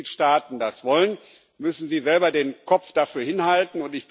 Wenn die Mitgliedstaaten das wollen, müssen sie selber den Kopf dafür hinhalten.